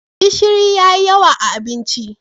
gishiri ya yi yawa a abinci